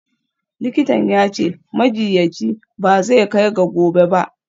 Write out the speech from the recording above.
Likitan ya ce, majiyyaci ba zai kai ga gobe ba.